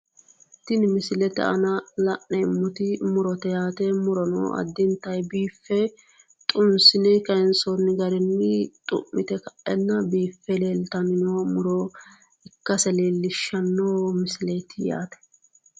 Tini misilete aana la'neemmoti murote yaate murono addintanni biife xunsine kayiinsoonni garinni xu'mite ka'e biife leeltanno muro ikkase leellishshanno misileeti